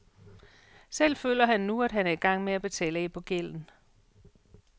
Selv føler han nu, at han er i gang med at betale af på gælden.